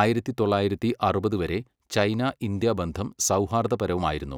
ആയിരത്തി തൊള്ളായിരത്തി അറുപത് വരെ ചൈന, ഇന്ത്യ ബന്ധം സൗഹാർദ്ദപരമായിരുന്നു.